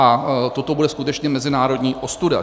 A toto bude skutečně mezinárodní ostuda.